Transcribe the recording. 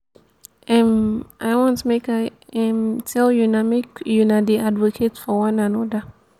um i wan make i um tell una make una dey advocate for one another